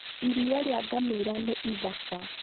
Iria rĩa ngamĩra nĩ ithaka